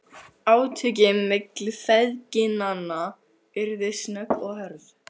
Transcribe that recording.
Átökin milli feðginanna urðu snögg og hörð.